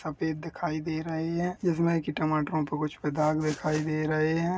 सफेद दिखाई दे रहे हैं जिसमे टमाटरों पर कुछ पे दाग दिखाई दे रहे है।